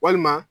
Walima